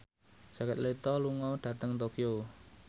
Jared Leto lunga dhateng Tokyo